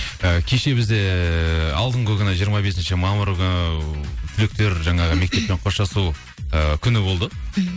і кеше бізде алдыңғы күні жиырма бесінші мамыр күні түлектер жаңағы мектеппен қоштасу і күні болды мхм